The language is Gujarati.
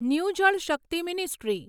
new Jal Shakti ministry